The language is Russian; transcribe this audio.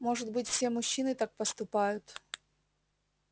может быть все мужчины так поступают